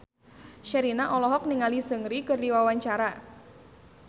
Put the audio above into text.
Sherina olohok ningali Seungri keur diwawancara